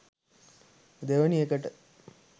දෙවෙනි එකට